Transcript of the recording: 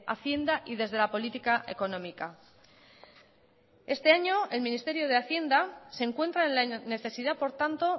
hacienda y desde la política económica este año el ministerio de hacienda se encuentra en la necesidad por tanto